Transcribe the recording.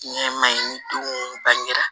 Ɲɛma in denw bangera